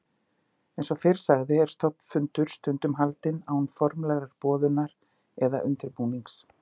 Eins og fyrr sagði er stofnfundur stundum haldinn án formlegrar boðunar eða undirbúnings.